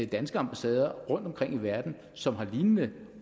danske ambassader rundtomkring i verden som har lignende